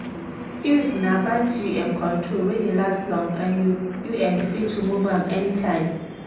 iud na birth u m control wey dey last long and you u m fit remove am anytime.